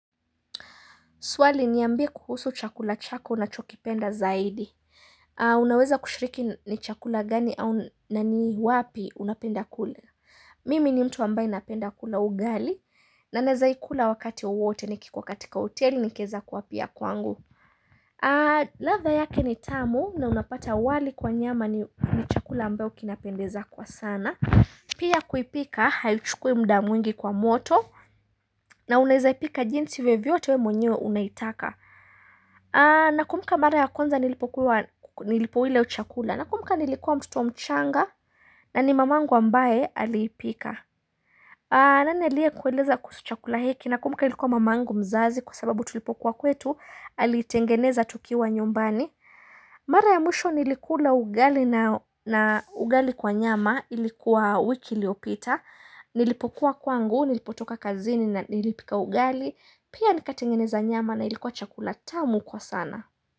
Swali niambie kuhusu chakula chako unachokipenda zaidi. Unaweza kushiriki ni chakula gani au na ni wapi unapenda kule. Mimi ni mtu ambaye napenda kula ugali na nawezaikula wakati wowote nikikuwa katika hoteli nikiweza kuwa pia kwangu. Ladha yake ni tamu na unapata wali kwa nyama ni chakula ambayo kinapendeza kwa sana. Pia kuipika haichukui muda mwingi kwa moto na unaweza ipika jinsi vyovyote wewe mwenyewe unaitaka. Nakumbuka mara ya kwanza nilipokuwa nilipoila hio chakula nakumbuka nilikuwa mtoto mchanga na ni mamangu ambaye aliipika. Nani aliyekueleza kuhusu chakula hiki, nakumbuka ilikuwa mamangu mzazi kwa sababu tulipokuwa kwetu alitengeneza tukiwa nyumbani. Mara ya mwisho nilikuwa ugali na ugali kwa nyama ilikuwa wiki iliyopita. Nilipokuwa kwangu, nilipotoka kazini na nilipika ugali. Pia nikatengeneza nyama na ilikuwa chakula tamu kwa sana.